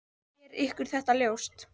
Er ykkur þetta ljóst?